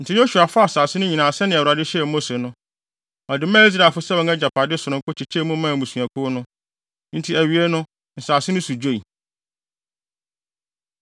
Enti Yosua faa asase no nyinaa sɛnea Awurade hyɛɛ Mose no. Ɔde maa Israelfo sɛ wɔn agyapade sononko kyekyɛɛ mu maa mmusuakuw no. Enti awiei no asase no so dwoe.